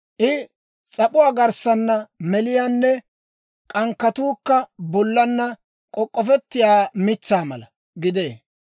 I s'ap'uu garssaana meliyaanne k'ankkatuukka bollaanna k'ok'k'ofettiyaa mitsaa mala gidee.